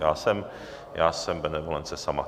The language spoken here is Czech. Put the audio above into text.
Já jsem benevolence sama.